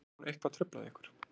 Hefur hún eitthvað truflað ykkur